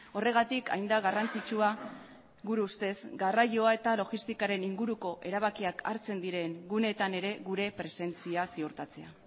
horregatik hain da garrantzitsua gure ustez garraioa eta logistikaren inguruko erabakiak hartzen diren guneetan ere gure presentzia ziurtatzea